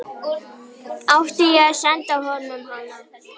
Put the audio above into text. Átti ég að senda honum hana?